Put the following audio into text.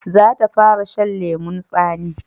Za ta fara shan lemun tsani